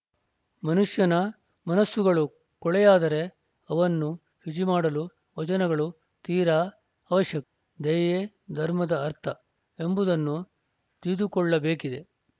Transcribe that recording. ಮನುಷ್ಯನ ಮನಸ್ಸುಗಳು ಕೊಳೆಯಾದರೆ ಅವನ್ನು ಶುಚಿ ಮಾಡಲು ವಚನಗಳು ತೀರಾ ಅವಶ್ಯಕ ದಯೆಯೇ ಧರ್ಮದ ಅರ್ಥ ಎಂಬುದನ್ನು ತಿಳಿದುಕೊಳ್ಳಬೇಕಿದೆ